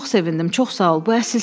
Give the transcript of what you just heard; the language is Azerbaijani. Hə, buna çox sevindim, çox sağ ol,